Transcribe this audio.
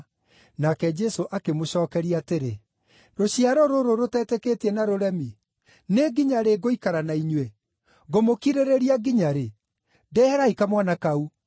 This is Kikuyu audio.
Nake Jesũ akĩmũcookeria atĩrĩ, “Rũciaro rũrũ rũtetĩkĩtie na rũremi, nĩ nginya rĩ ngũikara na inyuĩ? Ngũmũkirĩrĩria nginya rĩ? Ndeherai kamwana kau.”